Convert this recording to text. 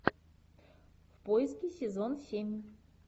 в поиске сезон семь